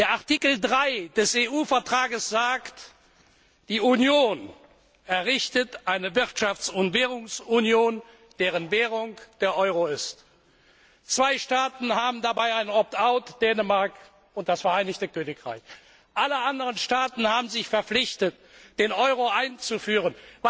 Artikel 3 des EU Vertrags sagt Die Union errichtet eine Wirtschafts und Währungsunion, deren Währung der Euro ist. Zwei Staaten haben dabei ein Opt out Dänemark und das Vereinigte Königreich. Alle anderen Staaten haben sich verpflichtet, den Euro einzuführen.